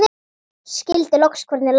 Skildi loks hvernig landið lá.